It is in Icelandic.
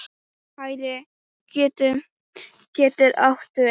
Hægri getur átt við